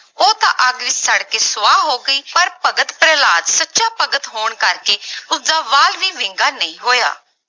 ਉਹ ਤਾਂ ਅੱਗ ਵਿੱਚ ਸੜ ਕੇ ਸਵਾ ਹੋ ਗਈ ਪਰ ਭਗਤ ਪ੍ਰਹਿਲਾਦ ਸੱਚਾ ਭਗਤ ਹੋਣ ਕਰਕੇ ਉਸਦਾ ਵਾਲ ਵੀ ਵਿੰਗਾ ਨਹੀਂ ਹੋਇਆ।